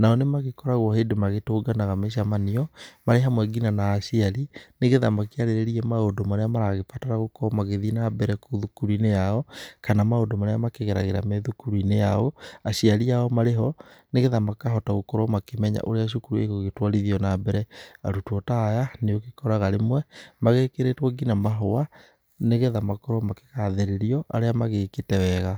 nao nĩmagĩkoragwo hĩndĩ magĩtũnganaga mĩcemanio, marĩ hamwe ngina na aciari nĩgetha makĩarĩrĩrie maũndũ marĩa maragĩbatara gũkorwo magĩthiĩ nambere kũu thukuru-inĩ yao, kana maũndũ marĩa makĩgeragĩra me thukuru-inĩ yao aciari ao marĩ ho, nĩgetha makahota gũkorwo makĩmenya ũrĩa cukuru ĩgũgĩtwarithio nambere. Arutwo ta aya nĩũgĩkoraga rĩmwe magĩgĩkĩrĩtwo ngina mahũa nĩgetha makorwo makĩgathĩrĩrio arĩa magĩkĩte wega.